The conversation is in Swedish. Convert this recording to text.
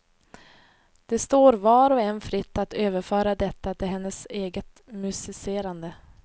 Det står var och en fritt att överföra detta till hennes eget musicerande.